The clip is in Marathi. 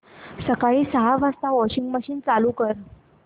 सकाळी सहा वाजता वॉशिंग मशीन चालू कर